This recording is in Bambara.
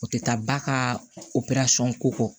O tɛ taa ba ka ko kɔ